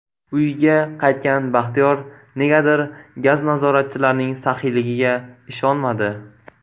Uyiga qaytgan Baxtiyor negadir gaz nazoratchilarining saxiyligiga ishonmadi.